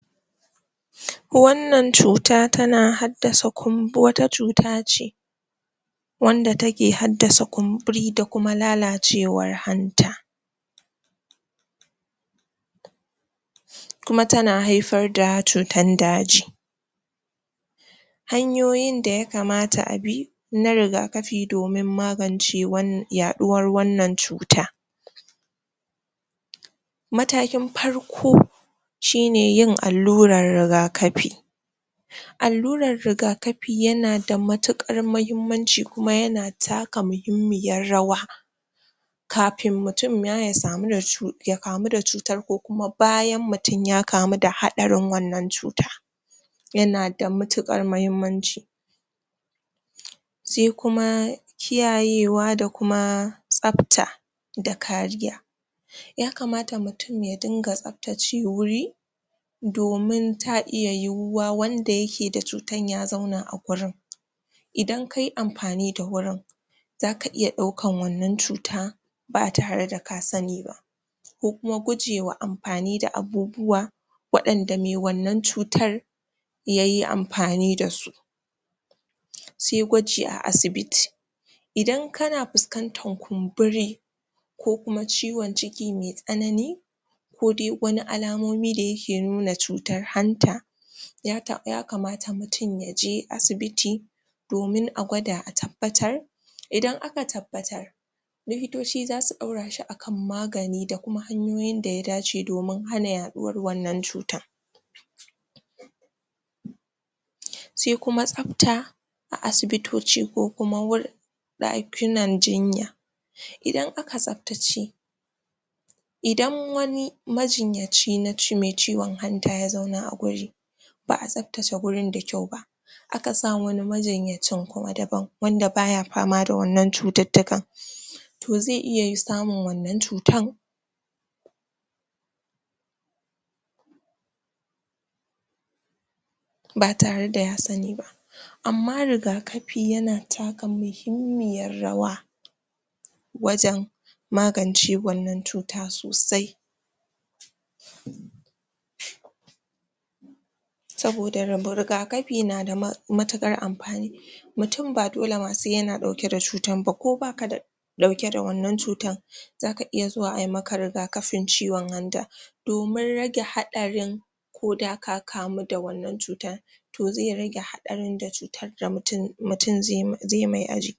Wannan cuta tana haddasa kum wannan cuta wata cuta ce wanda take haddasa kumburi da kuma lalacewar hanta kuma ta na haifar da cutan daji. Hanyoyin da ya kamata a bi na rigakafi domin wan yaɗuwar wannan cuta. Matakin farko Shine yin allurar rigakafi Allurar rigakafi yana da matuƙar mahimmanci kuma yana taka muhimmiyar rawa Kafin mutum ma ya samu da cu ya kamu da cutar ko kuma bayan mutum ya kamu da haɗarin wannan cuta yana da mitiƙar mahimmanci sai kuma kiyayewa da kuma tsafta da kariya. Ya kamata mutum ya dinga tsaftace wuri domin ta iya yiwuwa wanda yake da cutan ya zauna a gurin idan kayi amfani da wurin, zaka iya ɗaukan wannan cuta ba tare da ka sani ba ko kuma gujewa amfani da abubuwa waɗanda me wannan cutar yayi amfani da su sai gwaji a asibiti Idan kana fuskantar kumburi, ko kuma ciwon ciki me tsanani ko de wani alamomi da ya ke nuna cutar hanta ya taɓa ya kamata mutum ya je asibiti domin a gwada a tabbatar idan aka tabbatar likitoci zasu ɗaurashi a kan magani da kuma hanyoyinda ya dace domin hana yaɗuwar wannan cuta sai kuma tsafta a asibitoci ko kuma wur ɗakunan jinya Idan aka tsaftace idan wani majinyaci naci me ciwon hanta ya zauna a wuri ba'a tsaftace wurin da kyau ba a ka sa wani majinyacin kuma daban wanda baya fama da wannan cututtukan to zai iya yi samun wannan cutan ba tare da ya sani ba amma rigakafi yana taka muhimmiyar rawa wajen magance wannan cuta sosai saboda rub rigakafi na da matuƙar amfani mutum ba dole ma se yana ɗauke da cutan ba, ko bakada ɗauke da wannan cutan zaka iya zuwa ayi maka rigakafin ciwon hanta domin rage haɗarin ko da ka kamu da wannan cutar to zai rage haɗarin da cutadda mutum mtum ze mai ajik